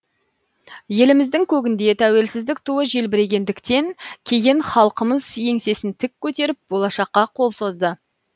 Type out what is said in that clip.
еліміздің көгінде тәуелсіздік туы желбірегендіктен кейін халқымыз еңсесін тік көтеріп болашаққа қол созды